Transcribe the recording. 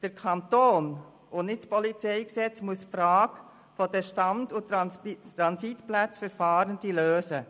Der Kanton und nicht das PolG muss die Frage der Stand- und Transitplätze für Fahrende lösen.